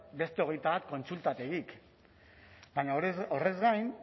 beste hogeita bat kontsultategik baina horrez gain